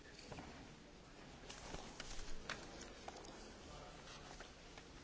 Am vrut și avem pentru prima oară un mecanism anticorupție al Uniunii Europene.